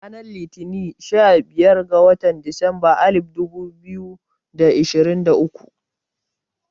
Ranar Litini sha biyar ga watan disamba alif dubu biyu da ashirin da uku